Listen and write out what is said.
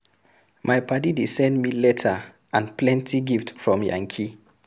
My paddy dey send me letter and plenty gift from yankee.